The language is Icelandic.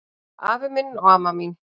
Afi minn og amma mín